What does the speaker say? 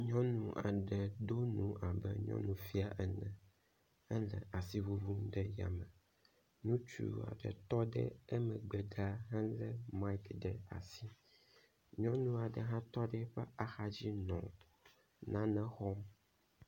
Nyɔnu aɖe do nu abe nyɔnu fia ene hele asi ŋuŋum ɖe ya me. Ŋutsu aɖe tɔ ɖe emegbe ɖaa hele miki ɖe asi. Nyɔnu aɖe hã tɔ ɖe eƒe axa dzinɔ nane xɔm.